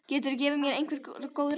Geturðu gefið mér einhver góð ráð?